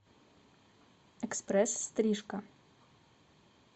экспресс стрижка